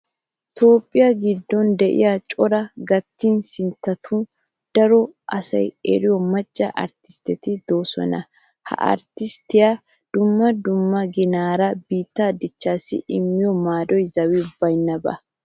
Toophphiya giddon de'iya coraa gattiya sinttatun daro asay eriyo macca arttistteti de'oosona. Ha arttistteti dumma dumma ginaara biittee dichchaassi immiyo maadoy zawi baynnaba.